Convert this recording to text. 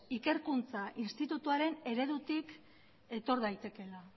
ikerkuntza institutoaren eredutik etor daitekeela